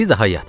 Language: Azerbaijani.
Daha yat.